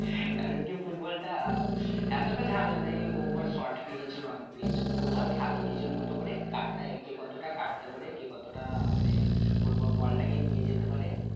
কারণ কি football টা এতটা ঝামেলা নেই football খেলো নিজের মতো করে কাটটা কে কতটা কাটতে পারে কে কতটা আহ মানে football ball টাকে নিয়ে যেতে পারে